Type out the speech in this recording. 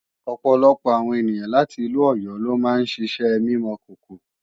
ọ̀pọ̀lọpọ̀ àwọn ènìyàn láti ìlú Ọ̀yọ́ lo máa ń ṣiṣẹ́ mímọ̀kòkò